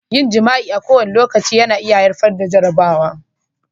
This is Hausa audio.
Yin jima'i a kowane lokaci na iya haifar da jaraba.